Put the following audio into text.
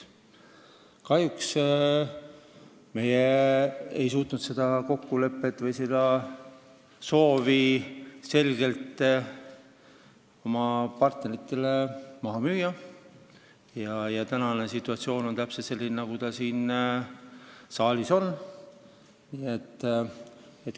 Kahjuks me ei suutnud seda soovi oma partneritele maha müüa ja tänane situatsioon on selline, nagu see on.